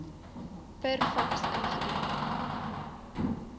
per faks ingedien